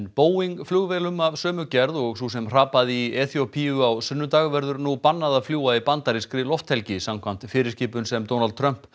Boeing flugvélum af sömu gerð og sú sem hrapaði í Eþíópíu á sunnudag verður nú bannað að fljúga í bandarískri lofthelgi samkvæmt fyrirskipun sem Donald Trump